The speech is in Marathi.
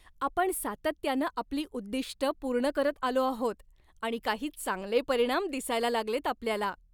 आपण सातत्यानं आपली उद्दिष्टं पूर्ण करत आलो आहोत आणि काही चांगले परिणाम दिसायला लागलेत आपल्याला!